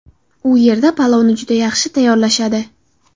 U yerda palovni juda yaxshi tayyorlashadi.